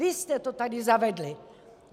Vy jste to tady zavedli!